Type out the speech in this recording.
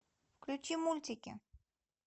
включи мультики